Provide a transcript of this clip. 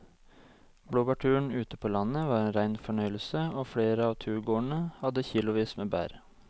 Blåbærturen ute på landet var en rein fornøyelse og flere av turgåerene hadde kilosvis med bær.